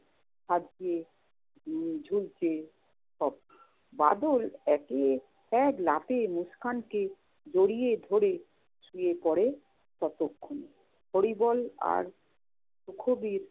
হাত দিয়ে উম ঝুলছে সব। বাদল একে~ এক লাফে মুস্কানকে জড়িয়ে ধরে শুয়ে পরে ততক্ষণ। হরিবল আর সুখবির